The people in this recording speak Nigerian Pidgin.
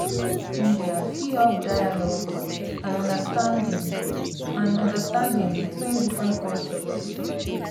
mass media fit help dialogue and understanding and understanding between different cultures.